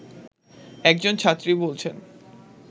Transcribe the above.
একজন ছাত্রী বলছেন